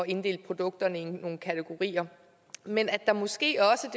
inddele produkterne i nogle kategorier men at der måske også